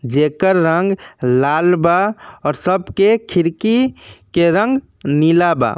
जेकर रंग लाल बा और सबके खिड़की के रंग नीला बा।